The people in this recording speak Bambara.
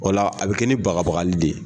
O la a bɛ kɛ ni bagabaga de ye.